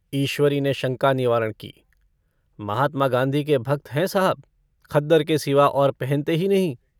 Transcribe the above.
ईश्वरी ने शंका निवारण की - महात्मा गाँधी के भक्त हैं साहब खद्दर के सिवा और पहनते ही नहीं।